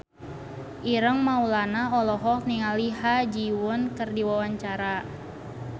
Ireng Maulana olohok ningali Ha Ji Won keur diwawancara